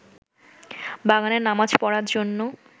বাগানে নামাজ পড়ার জন্য